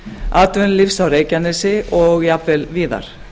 atvinnulífs á reykjanesi og jafnvel víðar